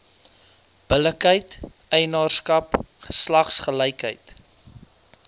billikheid eienaarskap geslagsgelykheid